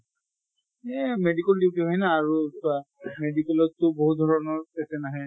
এহ medical duty হয় না আৰু medical ত টো বহুত ধৰণৰ patient আহে।